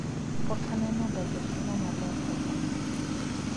pok aneno ga jakeno maler kaka macha